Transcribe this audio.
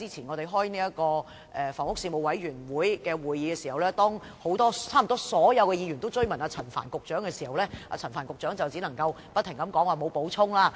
我們較早前舉行房屋事務委員會會議時，差不多所有議員均追問陳帆局長，但他只能不停說沒有補充。